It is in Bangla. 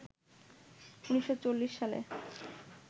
১৯৪০ সালে